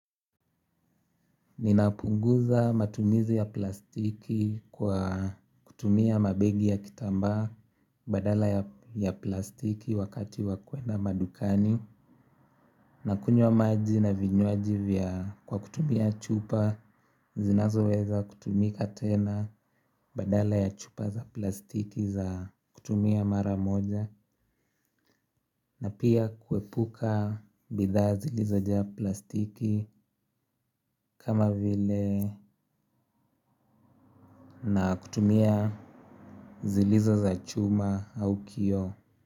Ninapunguza matumizi ya plastiki kwa kutumia mabegi ya kitambaa badala ya plastiki wakati wa kwenda madukani. Nakunywa maji na vinywaji kwa kutumia chupa zinazoweza kutumika tena badala ya chupa za plastiki za kutumia mara moja na pia kuepuka bidhaa zilizojaa plastiki kama vile na kutumia zilizo za chuma au kioo.